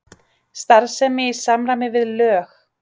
Starfsemi í samræmi við lög